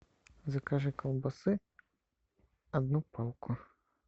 закажи колбасы одну палку